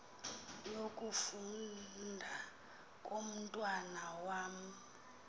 yokufunda komntwana wam